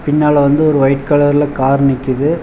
பின்னால வந்து ஒரு ஒய்ட் கலர்ல கார் நிக்குது.